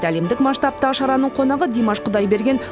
әлемдік масштабтағы шараның қонағы димаш құдайберген